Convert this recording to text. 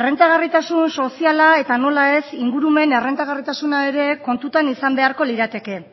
errentagarritasun soziala eta nola ez ingurumen errentagarritasuna ere kontutan izan beharko lirateke